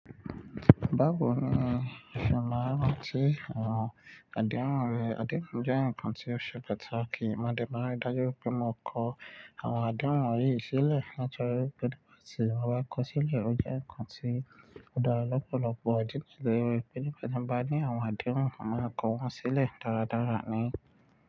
Báwo ni ìfẹ́ máa ń rántí àwọn àdéhùn rẹ̀? Àdéhùn jẹ́ nǹkan tí ó ṣe pàtàkì. Ìmọ̀dẹ́ máa ń dájú pé mo kọ àwọn àdéhùn yìí sílẹ̀ láti nitori pé tí mo bá kọ sílẹ̀, ó jẹ́ nǹkan tí ó dára lọ́pọ̀lọpọ̀. Ó dínà tí ìwé pẹlú pé tí mo bá ní àwọn àdéhùn, màá kọ wọ́n sílẹ̀ dáradára ni.